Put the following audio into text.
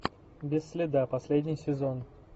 без следа последний сезон